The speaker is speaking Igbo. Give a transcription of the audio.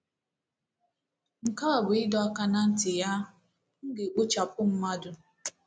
Nke a bụ ịdọ aka ná ntị ya: “ M ga-ekpochapụ mmadụ...